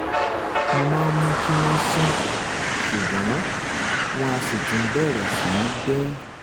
mo máa ń mú kí wọ́n sàn ṣùgbọ́n wọ́n á sì tún bẹ̀rẹ̀ sí í bẹ́